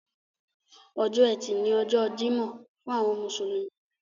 Ọjọ́ ẹtì ni ọjọ́ Jímọ̀ fún àwọn mùsùlùmí.